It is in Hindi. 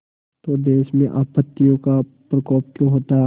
तो देश में आपत्तियों का प्रकोप क्यों होता